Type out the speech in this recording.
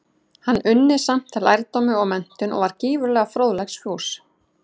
Hann unni samt lærdómi og menntun, og var gífurlega fróðleiksfús.